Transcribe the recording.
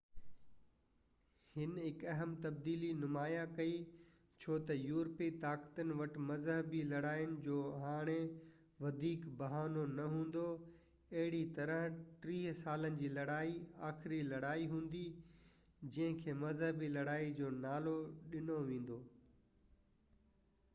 هن هڪ اهم تبديلي نمايان ڪئي ڇو تہ يورپي طاقتن وٽ مذهبي لڙائين جو هاڻي وڌيڪ بهانو نہ هوندو اهڙي طرح ٽيهہ سالن جي لڙائي آخري لڙائي هوندي جننهن کي مذهبي لڙائي جو نالو ڏنو ويندو